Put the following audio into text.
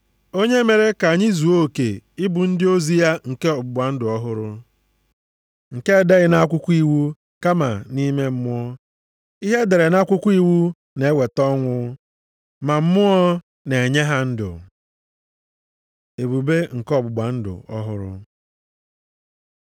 Onye mere ka anyị zuo oke ịbụ ndị ozi ya nke ọgbụgba ndụ ọhụrụ, nke edeghị nʼakwụkwọ iwu kama nʼime Mmụọ. Ihe e dere nʼakwụkwọ iwu na-eweta ọnwụ, ma Mmụọ na-enye ha ndụ. Ebube nke ọgbụgba ndụ ọhụrụ